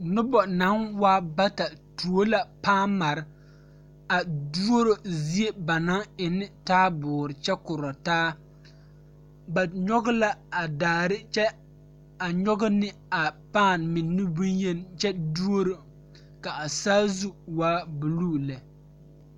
Noba yaga la bebe dɔɔba ane pɔgeba kaa pɔge kaŋ su kpare doɔre kaa dɔɔ meŋ be a ba niŋe saŋ a su Gaana falakyɛ kpare a seɛ Gaana falakyɛ kuri ka o nu bonyene a biŋ teŋa kyɛ teɛ a nu kaŋa meŋ a dɔɔ maale la waa buluu.